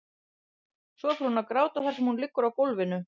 Svo fer hún að gráta þar sem hún liggur á gólfinu.